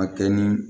A kɛ ni